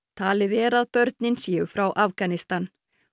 talið er að börnin séu frá Afganistan